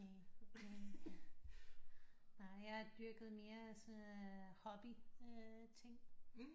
Næ nej jeg har dyrket mere sådan noget hobby ting